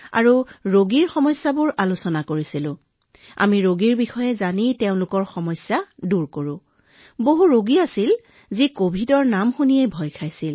আমি তেওঁলোকৰ যিকোনো সমস্যা ভাগ বতৰা কৰো আমি ধৈৰ্য্যশীল হৈ তেওঁলোকৰ দুঃশ্চিন্তা আঁতৰ কৰো মহোদয় বহুতো লোক আছিল যিয়ে কভিডৰ নামটো শুনিয়েই ভয় খাইছিল